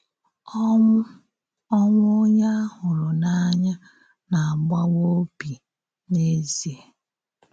Ọnwụ Ọnwụ onye a hụrụ n’anya na-agbawa obi n’eziè.